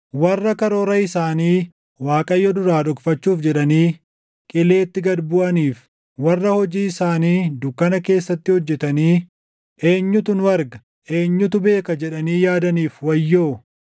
Warra karoora isaanii Waaqayyo duraa dhokfachuuf jedhanii // qileetti gad buʼaniif, warra hojii isaanii dukkana keessatti hojjetanii, “Eenyutu nu arga? Eenyutu beeka?” // jedhanii yaadaniif wayyoo!